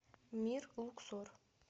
мир луксор